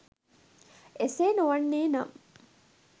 එසේ නොවන්නේ නම්